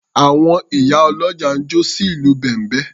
Àwọn ìyá ọlọ́jà ń jó sí ìlù bẹ̀m̀bẹ́.